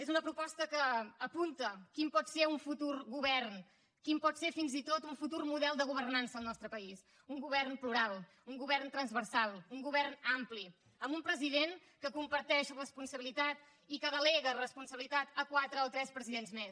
és una proposta que apunta quin pot ser un futur govern quin pot ser fins i tot un futur model de governança al nostre país un govern plural un govern transversal un govern ampli amb un president que comparteix responsabilitat i que delega responsabilitat a quatre o tres presidents més